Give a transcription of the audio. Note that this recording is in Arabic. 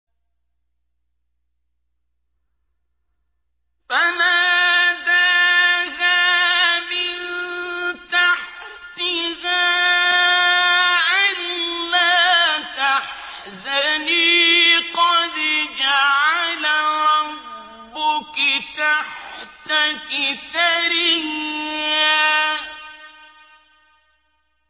فَنَادَاهَا مِن تَحْتِهَا أَلَّا تَحْزَنِي قَدْ جَعَلَ رَبُّكِ تَحْتَكِ سَرِيًّا